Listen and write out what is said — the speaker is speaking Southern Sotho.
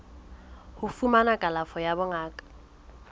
ho fumana kalafo ya bongaka